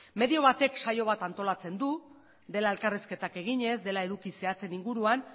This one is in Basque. medio batek saio bat antolatzen du dela elkarrizketak eginez dela eduki zehatzen inguruan